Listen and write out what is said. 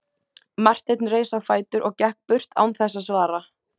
Marteinn reis á fætur og gekk burt án þess að svara.